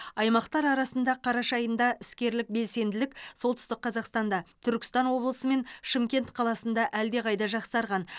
аймақтар арасында қараша айында іскерлік белсенділік солтүстік қазақстанда түркістан облысы мен шымкент қаласында әлдеқайда жақсарған